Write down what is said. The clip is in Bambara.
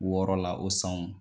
Wɔɔrɔ la o sanw